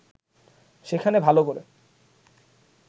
সেখানে ভালো করে